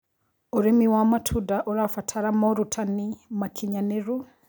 Ũrĩmĩ wa matũnda ũrabatara morũtanĩ makĩnyanĩrũ